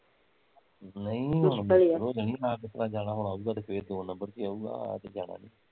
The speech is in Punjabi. ਨਹੀਂ ਜਾਣਾ ਵਾਂ ਅਉਗਾ ਤੇ ਫੇਰ ਦੋ ਨਬਰ ਚ ਈ ਅਯੁਗਾਂ ਆਇਆ ਤੇ ਜਾਣਾ ਨੀ